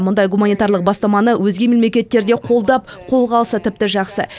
мұндай гуманитарлық бастаманы өзге мемлекеттер де қолдап қолға алса тіпті жақсы